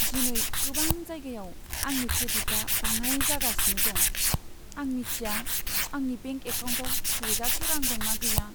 दिनै गोबां जायगायाव आंनि क्रेडिटआ बाङाइ जागासिनो दं। आं मिथिया आंनि बेंक एकाउन्टाव थोजासे रां दंना गैया।